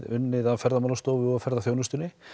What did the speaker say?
unnið af Ferðamálastofu og ferðaþjónustunni